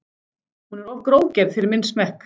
Hún er of grófgerð fyrir minn smekk.